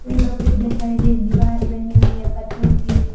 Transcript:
पेड़ों के इधर साइड एक दीवार बनी हुई है पत्थर की।